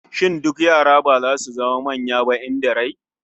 Shin duk yara ba zasu zama manya ba in da rai?